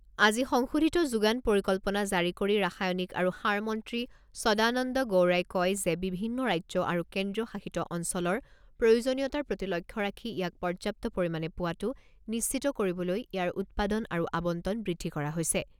আজি সংশোধিত যোগান পৰিকল্পনা জাৰি কৰি ৰাসায়নিক আৰু সাৰ মন্ত্ৰী সদানন্দ গৌড়াই কয় যে বিভিন্ন ৰাজ্য আৰু কেন্দ্ৰীয় শাসিত অঞ্চলৰ প্ৰয়োজনীয়তাৰ প্ৰতি লক্ষ্য ৰাখি ইয়াক পৰ্যাপ্ত পৰিমাণে পোৱাটো নিশ্চিত কৰিবলৈ ইয়াৰ উৎপাদন আৰু আৱণ্টন বৃদ্ধি কৰা হৈছে।